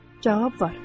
Cavab var.